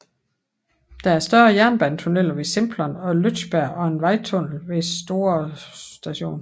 Der er to større jernbanetunneler ved Simplon og Lötschberg og en vejtunnel ved Store St